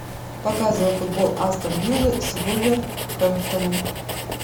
показывай футбол астон виллы с вулверхэмптоном